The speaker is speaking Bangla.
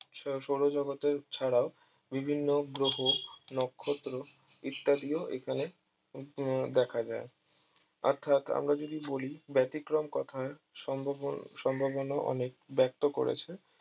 সৌরজগতের ছাড়াও বিভিন্ন গ্রহ নক্ষত্র ইত্যাদি ও এখানে দেখা যায় অর্থাৎ আমরা যদি বলি ব্যাতিক্রম কথা সম্ভব ও সম্ভাবনা অনেক ব্যক্ত করেছে